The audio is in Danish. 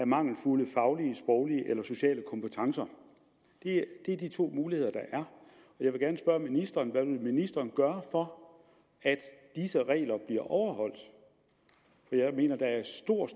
mangelfulde faglige sproglige eller sociale kompetencer det er de to muligheder der er jeg vil gerne spørge ministeren hvad vil ministeren gøre for at disse regler bliver overholdt jeg mener at der er stor